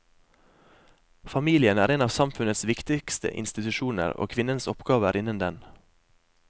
Familien er en av samfunnets viktigste institusjoner, og kvinnens oppgave er innen den.